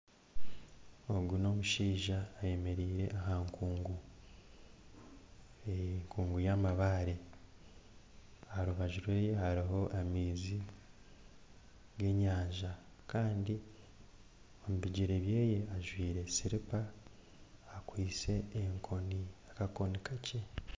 Ogu n'omushaija ayemereire aha nkungu enkungu yamabaare aha rubaju rwe hariho amaizi g'enyanja kandi omu bigyere bye ajwaire sirupa akwaitse enkoni akakoni kakye